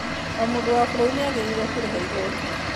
O mũndũ wa bũrũri nĩ agĩrĩirũo kũrĩha ĩgooti.